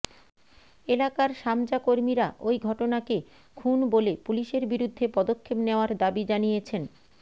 এলাকার সামজাকর্মীরা ওই ঘটনাকে খুন বলে পুলিসের বিরুদ্ধে পদক্ষেপ নেওয়ার দাবি জানিয়েছেন